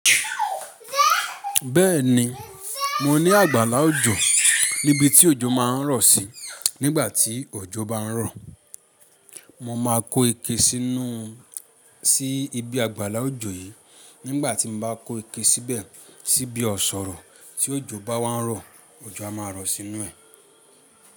Bẹ́ẹ̀ni, mo ní àgbàlá òjò níbi tí òjò máa ń rọ̀ sí nígbà tí òjò bá ń rọ̀. Mo máa kó ike sínú, sí ibi àgbàlá òjò yìí. Nígbà tí m bá kó ike síbẹ̀, síbi ọ̀ṣọ̀rọ̀ tí òjò bá wá ń rọ̀, òjò á máa rọ̀ sínú ẹ̀.